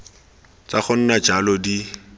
tsa go nna jalo di